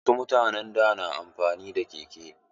Wasu mutanen da na amfani da keke.